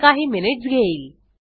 हे काही मिनिट्स घेईल